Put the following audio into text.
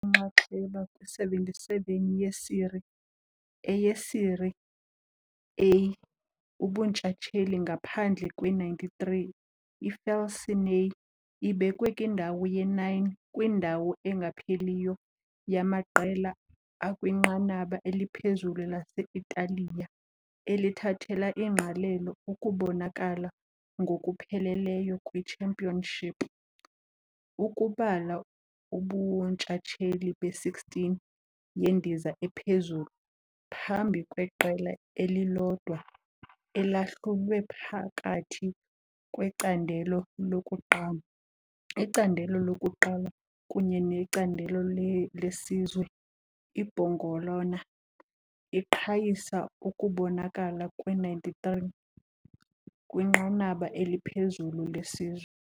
Ngokuthatha inxaxheba kwi-77 ye-serie A ye-serie A ubuntshatsheli ngaphandle kwe-93, i-Felsinei ibekwe kwindawo ye-9 kwindawo engapheliyo yamaqela akwinqanaba eliphezulu lase-Italiya, elithathela ingqalelo ukubonakala ngokupheleleyo kwi-Championship, ukubala ubuntshatsheli be-16 yendiza ephezulu phambi kweqela elilodwa, elahlulwe phakathi kweCandelo lokuQala, iCandelo lokuQala kunye neCandelo leSizwe, i-Bologna iqhayisa ukubonakala kwe-93 kwinqanaba eliphezulu lesizwe.